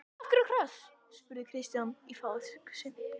Af hverju kross? spurði Stjáni í fávisku sinni.